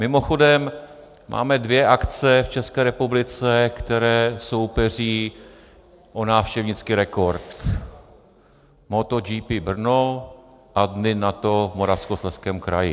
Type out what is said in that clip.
Mimochodem, máme dvě akce v České republice, které soupeří o návštěvnický rekord: Moto GP Brno a Dny NATO v Moravskoslezském kraji.